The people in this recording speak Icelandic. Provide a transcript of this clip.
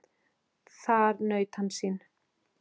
Þar naut hann sín.